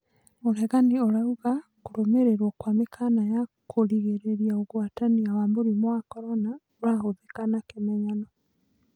ũregani ũraũga kũrũmĩrĩrwo kwa mĩkaana ya kũgĩrĩrĩria ũgwatania wa mũrimũ wa Korona ũrahũthĩka na kĩmenyano.